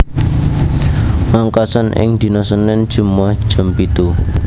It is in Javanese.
Ngangkasa ing dina Senin Jemuah jam pitu